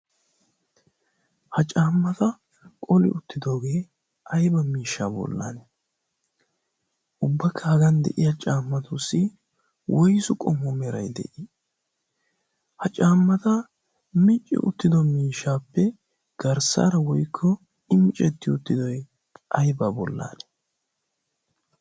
ha caammata qoli uttidoogee ayba miishsha bollan ubbakka hagan de'iya caammatuussi woisu qomu meray de'ii ha caammata micci uttido miishaappe garssaara woykko i micetti uttidoy ayba bollaan